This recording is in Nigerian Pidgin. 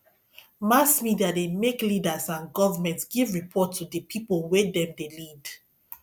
mass media de make leaders and government give report to di pipo wey dem de lead